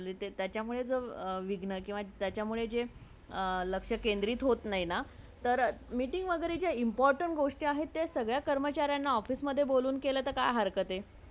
त्याच्यामुळे जे विघणा किवा त्याच्यामुळे लक्ष केंद्रित होत नाही ना ,तर meeting वागेरे जे important गोष्टी आहेत ते सगळ्या कर्मचारणला office मधून बोलूण केला तर काय हरक्त आहे